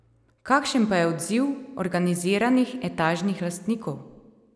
Kakšen pa je odziv organiziranih etažnih lastnikov?